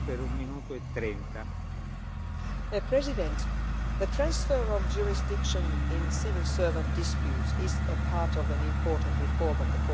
Mr President, the transfer of jurisdiction in civil service disputes is part of an important reform of the Court of Justice.